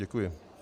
Děkuji.